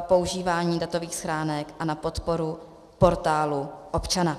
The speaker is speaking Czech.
používání datových schránek a na podporu Portálu občana.